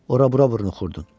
Ora-bura vurnuxurdun.